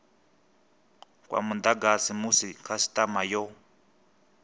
kwa mudagasi musi khasitama yo